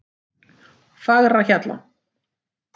Fagrahjalla